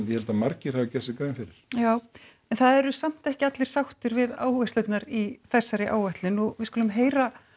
ég held að margir hafi gert sér grein fyrir já en það eru samt ekki allir sáttir við áherslurnar í þessari áætlun við skulum heyra